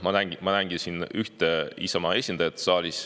Ma näengi siin saalis ühte Isamaa esindajat.